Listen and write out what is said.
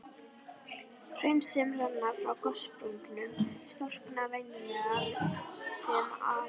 Hraun sem renna frá gossprungum storkna venjulega sem apalhraun.